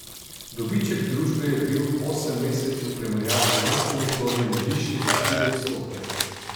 Dobiček družbe je bil v osemmesečju v primerjavi z lanskim obdobjem višji za štiri odstotke.